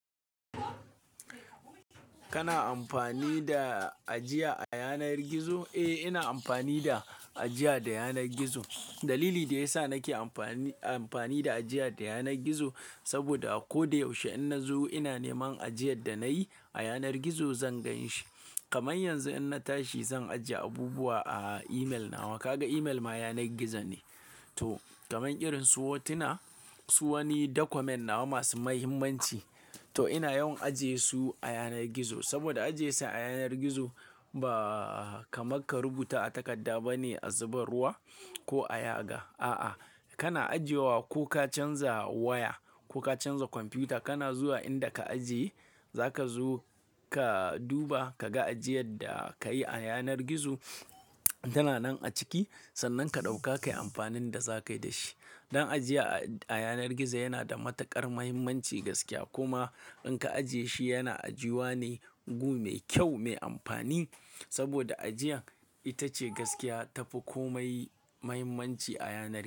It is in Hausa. Kana amfani da ajiya a yanar gizo? Eh, ina amfani da ajiya da yanar gizo. Dalili da ya sa nake amfani, amfani da ajiya da yanar gizo saboda a koda yaushe in na zo ina neman ajiyar da na yi a yanar gizo zan gan shi. Kaman yanzu in na tashi zan ajiye abubuwa a email na. Kaga email ma yanar gizo ne. To kaman irin su hotuna, su wani document nawa masu muhimmanci. To ina yawan ajiye su a yanar gizo saboda ajiye su a yanar gizo ba kamar ka rubuta a takadda bane a zuba ruwa ko a yaga. A'a, kana ajiyewa ko ka canza waya ko ka canza kwamfuta kana zuwa inda ka ajiye, za ka zo ka duba ka ga ajiyar da ka yi a yanar gizo tana nan a ciki. Sannan ka ɗauka kayi amfanin da za ka yi da shi. Don ajiya a yanar gizo yana da matukar muhimmanci gaskiya. Kuma in ka ajiye shi yana ajiwa ne mugu, mai kyau, mai amfani saboda ajiyan ita ce gaskiya ta fi komai muhimmanci a yanar gizo.